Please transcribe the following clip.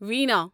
وینا